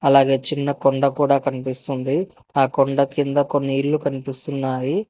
అలాగే చిన్న కొండ కూడా కనిపిస్తుంది ఆ కొండ కింద కొన్ని ఇల్లు కనిపిస్తున్నాయి.